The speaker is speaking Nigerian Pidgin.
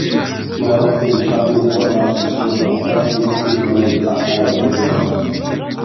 my uncle dey sharpen e cutlass with stone after seed seed don dey pack iron no dey allowed